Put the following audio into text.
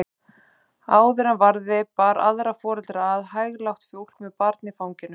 Áður en varði bar aðra foreldra að, hæglátt fólk með barn í fanginu.